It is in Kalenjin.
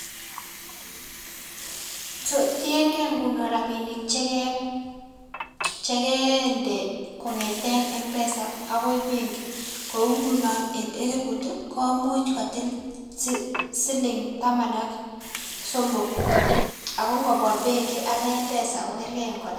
um Tiengei ngunon rabinik chekee chekeende kong'eten Mpesa akoi benki kou ngunon en eliput ii komuch kotil sili siling' taman ak somok ako ngobwa benki akoi Mpesa kokerkei kora.